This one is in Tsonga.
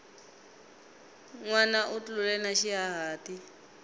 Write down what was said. nwana u tlule na xihahati